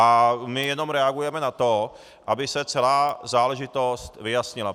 A my jenom reagujeme na to, aby se celá záležitost vyjasnila.